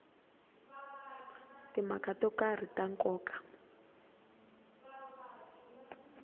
timhaka to karhi ta nkoka